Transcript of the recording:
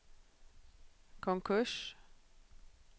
konkurs